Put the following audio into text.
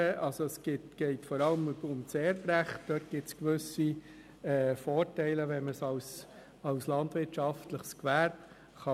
Es geht vor allem um das Erbrecht, wo es gewisse Vorteile gibt, wenn man es als landwirtschaftliches Gewerbe vererben kann.